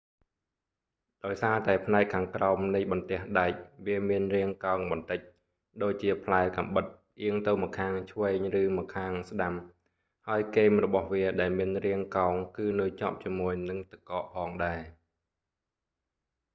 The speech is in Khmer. ដោយសារតែផ្នែកខាងក្រោមនៃបន្ទះដែកវាមានរាងកោងបន្តិច ដូចជាផ្លែកាំបិតផ្អៀងទៅម្ខាងឆ្វេងឬម្ខាងស្តាំ ហើយគែមរបស់វាដែលមានរាងកោងគឺនៅជាប់ជាមួយនឹងទឹកកកផងដែរ